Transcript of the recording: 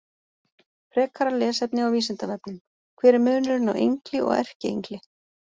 Frekara lesefni á Vísindavefnum: Hver er munurinn á engli og erkiengli?